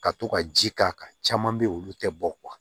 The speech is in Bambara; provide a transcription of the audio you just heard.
Ka to ka ji k' a kan caman bɛ yen olu tɛ bɔ